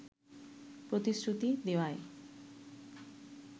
প্রতিশ্রুতি দেওয়ায়